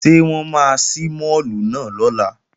Ṣé wọ́n máa ṣí máàlù náà lọ́la?